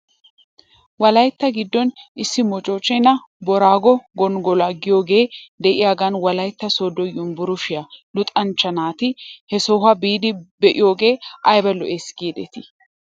Wolaytta giddon issi moochchenaa booraago gonggoluwa giyoogee de'iyaagan wolaytta sooddo yumbburshshiyaa luxanchcha naati he sohuwaa biidi be'idoogee ayba lo'es giidetii?